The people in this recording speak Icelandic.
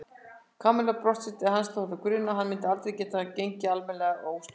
Kamilla brosti til hans þótt hana grunaði að hann myndi aldrei geta gengið almennilega óstuddur.